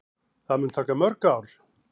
Það mun taka mörg ár.